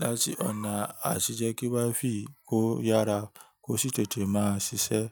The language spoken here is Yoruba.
láti ọ̀nà àti jẹ́ kí wifi kó yára, kó sì tètè máa ṣiṣẹ́.